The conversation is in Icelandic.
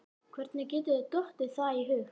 Hvernig getur þér dottið það í hug!